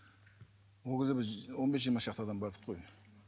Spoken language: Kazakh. ол кезде біз он бес жиырма шақты адам бардық қой